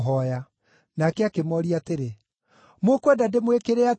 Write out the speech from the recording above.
Nake akĩmooria atĩrĩ, “Mũkwenda ndĩmwĩkĩre atĩa?”